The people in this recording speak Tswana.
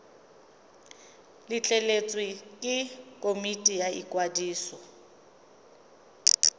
letleletswe ke komiti ya ikwadiso